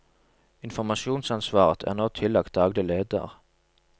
Informasjonsansvaret er nå tillagt daglig leder.